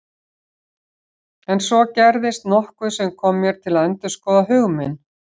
En svo gerðist nokkuð sem kom mér til að endurskoða hug minn.